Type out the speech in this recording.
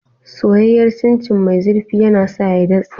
Soyayyar Chin Chin mai zurfi yana sa ya datse.